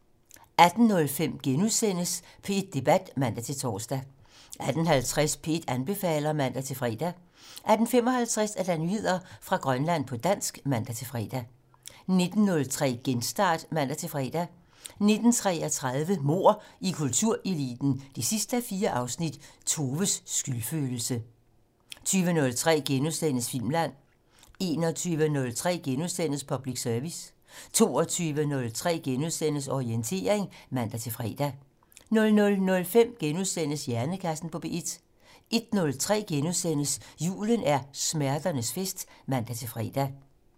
18:05: P1 Debat *(man-tor) 18:50: P1 anbefaler (man-fre) 18:55: Nyheder fra Grønland på dansk (man-fre) 19:03: Genstart (man-fre) 19:33: Mord i kultureliten 4:4 - Toves skyldfølelse 20:03: Filmland * 21:03: Public Service * 22:03: Orientering *(man-fre) 00:05: Hjernekassen på P1 * 01:03: Julen er smerternes fest *(man-fre)